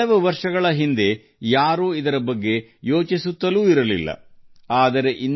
ಕೆಲವು ವರ್ಷಗಳ ಹಿಂದೆ ನಮ್ಮ ದೇಶದಲ್ಲಿ ಬಾಹ್ಯಾಕಾಶ ಕ್ಷೇತ್ರದಲ್ಲಿ ಯಾರೂ ನವೋದ್ಯಮಗಳ ಬಗ್ಗೆ ಯೋಚಿಸಿರಲಿಲ್ಲ